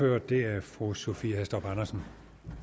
og det er fru sophie hæstorp andersen